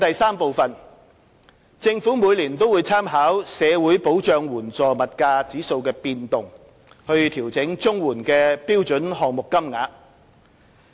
三政府每年會參考社會保障援助物價指數的變動調整綜援的標準項目金額。